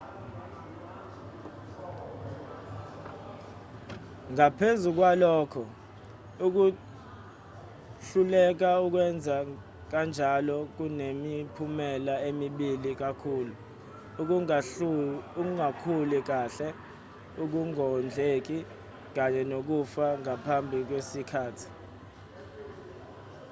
ngaphezu kwalokho ukuhluleka ukwenza kanjalo kunemiphumela emibi kakhulu ukungakhuli kahle ukungondleki kanye nokufa ngaphambi kwesikhathi